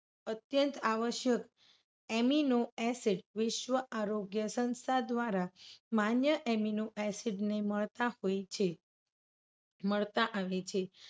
અત્યંત આવશ્યક amino acid વિશ્વ આરોગ્ય સંસ્થા દ્વારા માન્ય amino acid ને મળતા હોય છે. મળતા આવે છે.